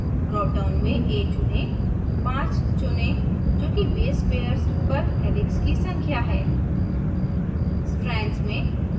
bases per turn drop down में a चुनें 5 चुनें: जो कि base पेयर्स पर helix की संख्या है